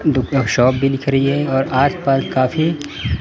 दूसरा शॉप भी दिख रही है और आस पास काफी--